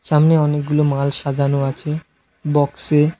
সামনে অনেকগুলো মাল সাজানো আছে বক্সে।